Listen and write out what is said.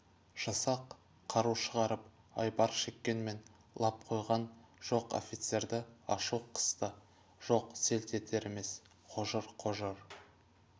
жасақ қару шығарып айбар шеккенмен лап қойған жоқ офицерді ашу қысты жоқ селт етер емес қожыр-қожыр